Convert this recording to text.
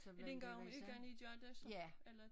Er det en gang om ugen i gør det så eller